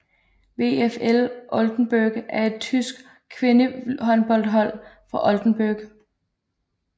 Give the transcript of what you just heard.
VfL Oldenburg er et tysk kvindehåndboldhold fra Oldenburg